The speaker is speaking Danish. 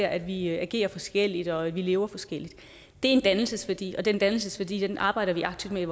at vi agerer forskelligt og at vi lever forskelligt det er en dannelsesværdi og den dannelsesværdi arbejder vi aktivt med